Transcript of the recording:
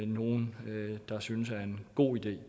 nogen der synes er en god idé